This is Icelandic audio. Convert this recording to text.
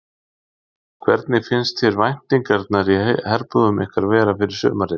Hvernig finnst þér væntingarnar í herbúðum ykkar vera fyrir sumarið?